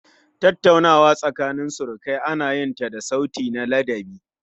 Tattaunawa da surukai ana yin ta da sauti na ladabi